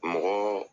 Mɔgɔ